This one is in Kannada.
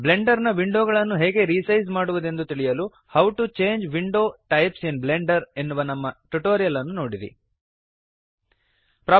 ಬ್ಲೆಂಡರ್ ನ ವಿಂಡೋ ಗಳನ್ನು ಹೇಗೆ ರಿಸೈಜ್ ಮಾಡುವದೆಂದು ತಿಳಿಯಲು how to change window types in Blender how to change window types in Blender ಎನ್ನುವ ನಮ್ಮ ಟ್ಯುಟೋರಿಯಲ್ ನೋಡಿರಿ